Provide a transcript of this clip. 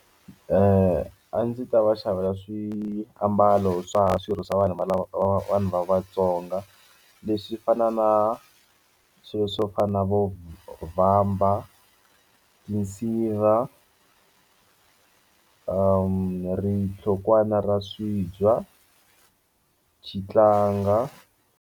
A ndzi ta va xavela swiambalo swa swirho swa vanhu lava vanhu va Vatsonga leswi fana na swilo swo fana na vo vamba tinsiva rinhlokwana ra swibya xitlanga.